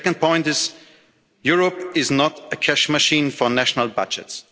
The second point is Europe is not a cash machine for national budgets.